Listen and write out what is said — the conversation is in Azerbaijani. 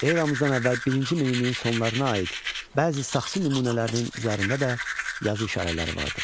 Eramızdan əvvəl birinci minilliyin sonlarına aid bəzi saxsı nümunələrinin üzərində də yazı işarələri vardır.